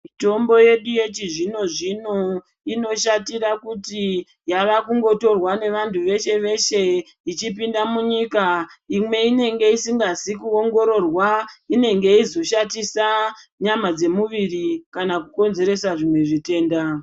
Mitombo yedu yechizvino-zvino inoshatira kuti yavakungotorwa jgevanthu veshe veshe ichipinda munyika imwe inenge isikazi kuongororwa inenge yeizoshatisa nyama dzemumwiri kana kukonzeresa zvimwe zvitenda.